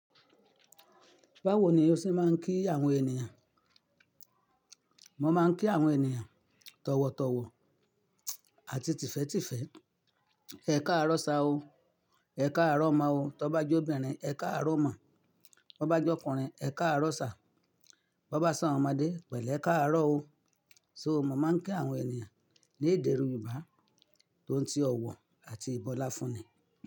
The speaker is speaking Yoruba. Báwo ni o ṣe máa ń kí àwọn ènìyàn? Mo máa ń kí àwọn ènìyàn towo towo àti tife tife. Ẹ káàárọ̀ sa o. Ẹ káàárọ̀ ma o, tó bá jẹ́ obìnrin. Ẹ káàárọ̀ ma. Tó bá jẹ́ ọkùnrin ekaaro sa. Bo bá sáwon ọmọdé, pẹ̀lẹ́ káàárọ̀ o. So mo máa ń kí àwọn ènìyàn ní èdè Yorùbá tó ń ti ọ̀wọ̀ àti ìbọláfúnni.